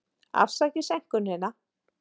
Afsakið seinkunina.